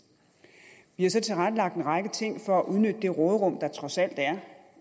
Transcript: vi har så tilrettelagt en række ting for at udnytte det råderum der trods alt er